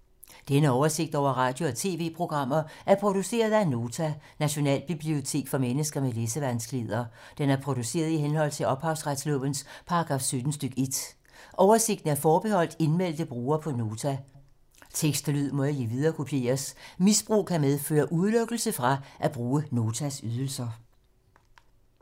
Denne oversigt over radio og TV-programmer er produceret af Nota, Nationalbibliotek for mennesker med læsevanskeligheder. Den er produceret i henhold til ophavsretslovens paragraf 17 stk. 1. Oversigten er forbeholdt indmeldte brugere på Nota. Tekst og lyd må ikke viderekopieres. Misbrug kan medføre udelukkelse fra at bruge Notas ydelser.